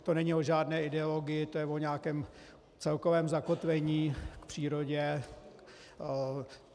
To není o žádné ideologii, to je o nějakém celkovém zakotvení k přírodě.